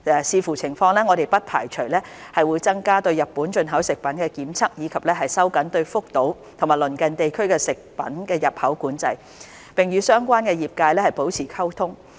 視乎情況，我們不排除會增加對日本進口食品的檢測，以及收緊對福島及鄰近地區的食品的入口管制，並與相關業界保持溝通。